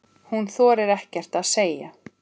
Hún þorir ekkert að segja.